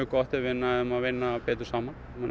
gott ef við næðum að vinna betur saman